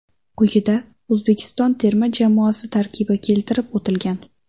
Quyida O‘zbekiston terma jamoasi tarkibi keltirib o‘tilgan: !